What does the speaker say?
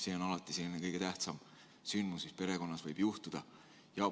See on alati kõige tähtsam sündmus, mis perekonnas võib juhtuda.